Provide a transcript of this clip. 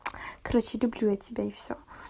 короче люблю я тебя и все